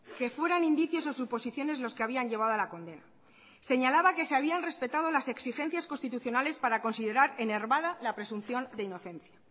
que fueran indicios o suposiciones los que habían llevado a la condena señalaba que se habían respetado las exigencias constitucionales para considerar enervada la presunción de inocencia